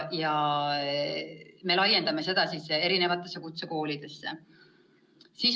Me laiendame seda erinevatesse kutsekoolidesse.